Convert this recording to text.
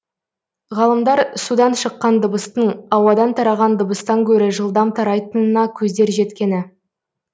ғалымдар судан шыққан дыбыстың ауадан тараған дыбыстан гөрі жылдам тарайтынына көздері жеткен